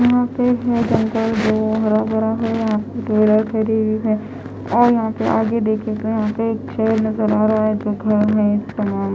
यहाँ पे जो जंगल है हरा भरा है और पे और यहाँ आगे देखने में यहाँ पे एक शेर नज़र आ रहा है जो खड़ा है --